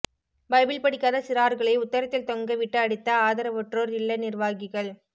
Bible படிக்காத சிறார்களை உத்தரத்தில் தொங்க விட்டு அடித்த ஆதரவற்றோர் இல்ல நிர்வாகிகள்